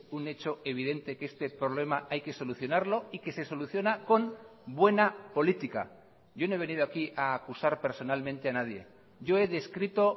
un hecho evidente que este problema hay que solucionarlo y que se soluciona con buena política yo no he venido aquí a acusar personalmente a nadie yo he descrito